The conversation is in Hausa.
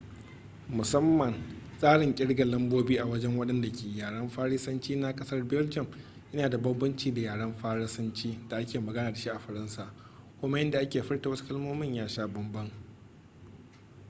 musamman tsarin kirgar lambobi a wajen wadanda ke yaren faransanci na kasar belgium ya na da banbanci da yaren faransanci da ake magana da shi a faransa, kuma yadda ake furta wasu kalmomin ya sha bambam